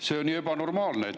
See on ju ebanormaalne.